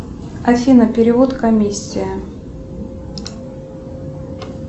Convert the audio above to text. афина перевод комиссия